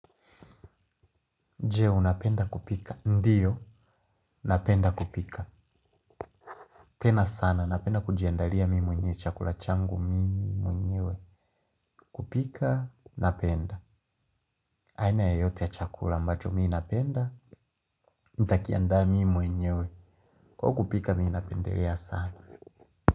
Je, unapenda kupika. Ndiyo, napenda kupika. Tena sana, napenda kujiandalia mimi mwenye chakula changu mimi mwenyewe. Kupika napenda. Aina yoyote ya chakula ambacho mimi napenda nitakiandaa mimi mwenyewe. Kwa kupika mimi napendelea sana.